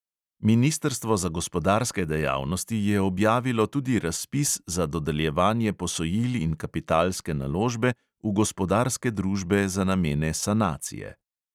Ministrstvo za gospodarske dejavnosti je objavilo tudi razpis za dodeljevanje posojil in kapitalske naložbe v gospodarske družbe za namene sanacije.